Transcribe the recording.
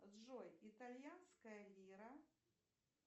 джой итальянская лира